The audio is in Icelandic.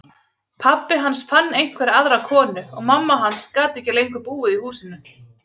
Pabbi hans fann einhverja aðra konu og mamma hans gat ekki lengur búið í húsinu.